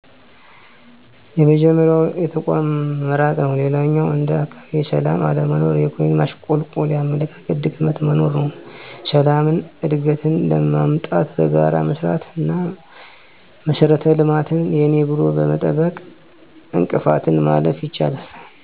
የመጀመሪያው የተቋሙ መራቅ ነው። ሌላኛው እንደ አካባቢ የሠላም አለመኖር፣ የኢኮኖሚ ማሽቆልቆልና የአመለካከት ድክመት መኖር ነው። ሠላምን፣ እድገትን ለማምጣት በጋራ መሥራት አና መሠረተ ልማትን የኔ ብሎ በመጠበቅ እንቅፋትን ማለፍ ይቻላል።